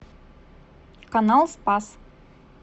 канал спас